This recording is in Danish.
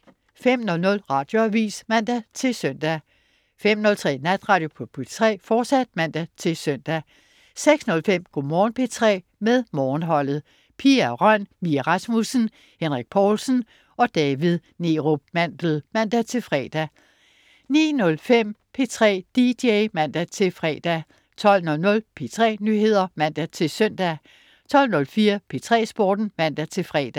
05.00 Radioavis (man-søn) 05.03 Natradio på P3, fortsat (man-søn) 06.05 Go' Morgen P3 med Morgenholdet. Pia Røn, Mie Rasmussen, Henrik Povlsen og David Neerup Mandel (man-fre) 09.05 P3 dj (man-fre) 12.00 P3 Nyheder (man-søn) 12.04 P3 Sporten (man-fre)